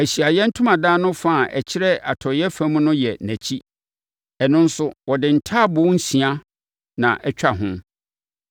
Ahyiaeɛ Ntomadan no fa a ɛkyerɛ atɔeɛ fam no yɛ nʼakyi. Ɛno nso, wɔde ntaaboo nsia na ɛtwa ho,